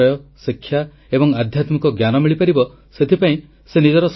ସେ ନିଜର 111 ବର୍ଷର ଜୀବନ କାଳରେ ହଜାର ହଜାର ଲୋକଙ୍କ ସାମାଜିକ ଶୈକ୍ଷିକ ଏବଂ ଆର୍ଥିକ ଉତ୍ଥାନ ପାଇଁ କାର୍ଯ୍ୟ କରିଛନ୍ତି